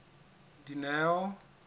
dineo